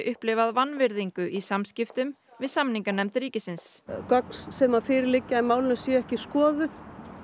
upplifað vanvirðingu í samskiptum við samninganefnd ríkisins gögn sem fyrir liggja í málinu séu ekki skoðuð